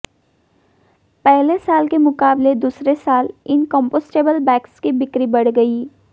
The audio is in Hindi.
पहले साल के मुकाबले दूसरे साल इन कंपोस्टेबल बैग्स की बिक्री बढ़ गई